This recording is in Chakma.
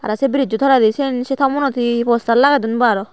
te se bridge toledi siyan se tomunot he poster lage don bo aro.